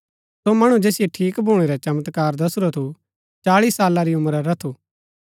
सो मणु जैसिओ ठीक भूणै रा चमत्कार दसुरा थू चाळी साला री उम्रा रा थू